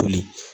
Toli